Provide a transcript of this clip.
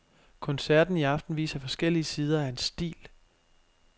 Koncerten i aften viser forskellige sider af hans stil.